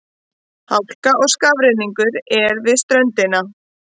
Hálka og skafrenningur er við ströndina